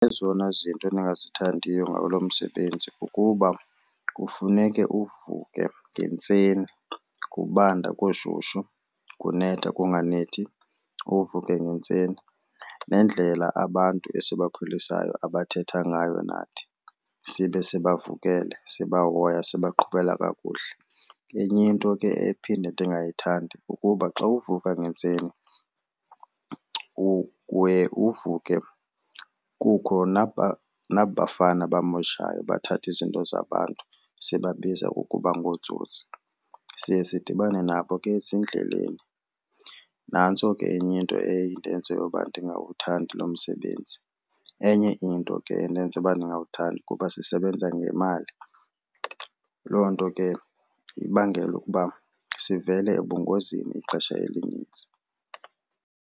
Ezona zinto endingazithandiyo ngalo msebenzi kukuba kufuneke uvuke ngentseni kubanda, kushushu, kunetha, kunganethi, uvuke ngentseni. Nendlela abantu esibakhwelisayo abathetha ngayo nathi sibe sibavukele sibahoya, sibaqhubela kakuhle. Enye into ke ephinde ndingayithandi kukuba xa uvuka ngentseni uye uvuke kukho naba 'fana bamoshayo bathatha izinto zabantu sibabiza ukuba ngootsotsi, siye sidibane nabo ke ezindleleni. Nantso ke enye into eye indenze uba ndingawuthandi lo msebenzi. Enye into ke endenza ukuba ndingawuthandi kuba sisebenza ngemali. Loo nto ke ibangela ukuba sivele ebungozini ixesha elinintsi.